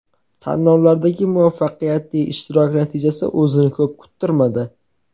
Tanlovlardagi muvaffaqiyatli ishtirok natijasi o‘zini ko‘p kuttirmadi.